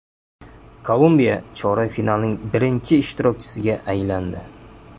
Kolumbiya chorak finalning birinchi ishtirokchisiga aylandi .